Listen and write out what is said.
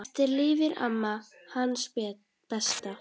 Eftir lifir amma, hans besta.